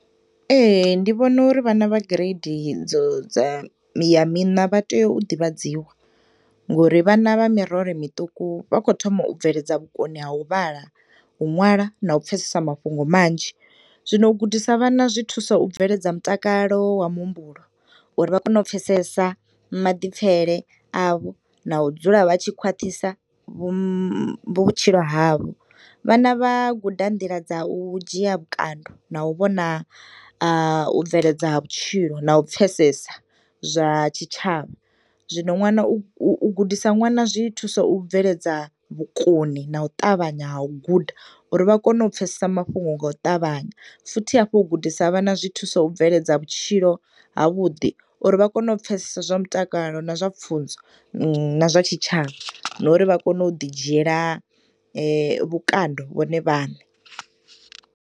Ee, ndivhono uri vhana vha gireidi dzo dza ya mina vhatea u ḓivhadziwa ngori vhana vha mirole miṱuku vhakhothoma u bveledza vhukoni ha uvhala, uṅwala na upfesesa mafhungo manzhi, zwino u gudisa vhana zwithusa u bveledza mutakalo wa muhumbulo uri vhakone upfesesa maḓipfele avho na udzula vhatshi khwaṱhisa vhutshilo havho. Vhana vha guda nḓila dza u dzhiya vhukando na u vhona u bveledza ha vhutshilo a u pfesesa zwa tshitshavha. Zwino ṅwana u gudisa ṅwana, zwi thusa u bveledza vhukoni na u ṱavhanya ha u guda uri vhakone upfesesa mafhungo nga u ṱavhanya futhi hafhu u gudisa vhana zwithusa u bveledza vhutshilo havhuḓi uri vhakone u pfesesa zwa mutakalo na zwa pfunzo na zwa tshitshavha nori vha kone u ḓi dzhiyela vhukando vhone vhane.